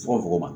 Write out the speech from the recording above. Fokon ma